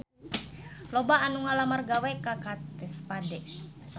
Loba anu ngalamar gawe ka Kate Spade